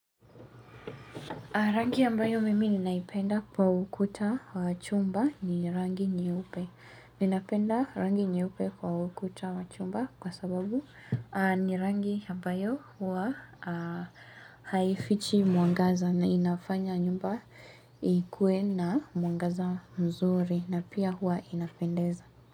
Rangi ambayo mimi ninaipenda kwa ukuta wa chumba ni rangi nyeupe. Ninapenda rangi nyeupe kwa ukuta chumba kwa sababu ni rangi ambayo huwa haifichi muangaza na inafanya nyumba ikue na mwangaza mzuri na pia huwa inapendeza.